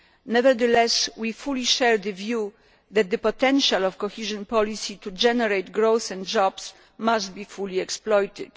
Nevertheless, we fully share the view that the potential of cohesion policy to generate growth and jobs must be fully exploited.